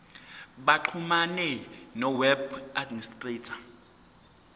baxhumane noweb administrator